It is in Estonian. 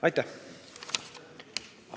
Aitäh!